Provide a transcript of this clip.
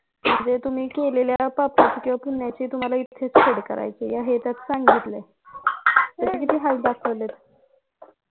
म्हणजे तुम्ही केलेल्या पापाची किंवा पुण्याची तुम्हाला इथेच फेड करायचं आहे हे त्यात सांगितलंय किती हाल दाखवलेत